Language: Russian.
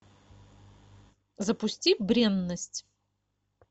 запусти бренность